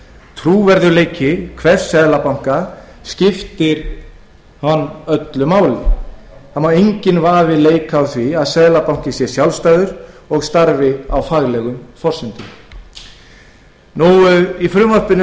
trúverðugleiki hvers seðlabanka er honum afar mikilvægur því má enginn vafi leika á því að seðlabankinn sé sjálfstæður og starfi á faglegum forsendum gerð